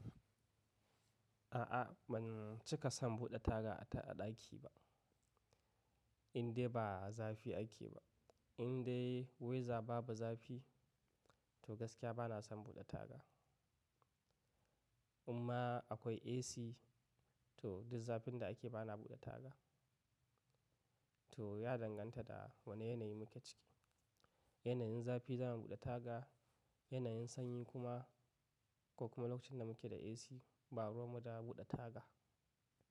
A'a ban cika son buɗe taga a ɗaki ba. Inde ba zafi ake ba, indai weather babu zafi to gaskiya bana son buɗe taga. Amma akwai AC to duk zafin da ake bana buɗe taga. To ya danganta da wane yanayi muke ciki. Yanayin zafi za mu buɗe taga, yanayin sanyi kuma ko kuma lokacin da muke da AC ba ruwa mu da buɗe taga.